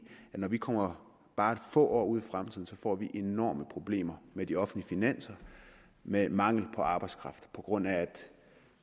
at når vi kommer bare få år ud i fremtiden får vi enorme problemer med de offentlige finanser med mangel på arbejdskraft på grund af